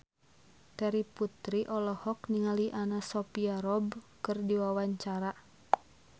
Terry Putri olohok ningali Anna Sophia Robb keur diwawancara